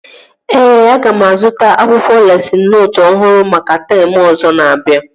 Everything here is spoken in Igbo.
Ee, aga m azụta akwụkwọ lesịn nootu ọhụrụ maka teemụ ọzọ na-abịa